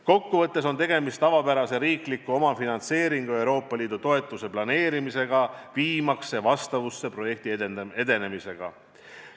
Kokkuvõttes on tegemist tavapärase riikliku omafinantseeringu ja Euroopa Liidu toetuse planeerimisega, viimaks see vastavusse projekti edenemisega.